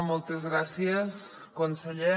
moltes gràcies conseller